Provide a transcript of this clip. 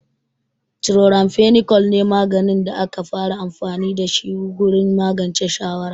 Chloramphenicol ne maganin da aka fara amfani da shi gurin magance shawara.